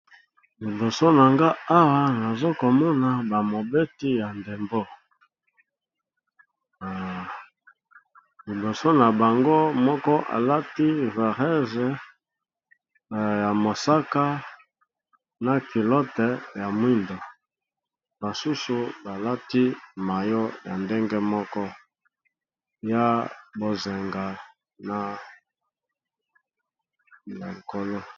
Liboso na nga awa nazokomona bamobeti ya ndembo, liboso na bango moko alati varese ya mosaka na kilote ya mwindo, basusu balati mayo ya ndenge moko ya bozenga na likolo.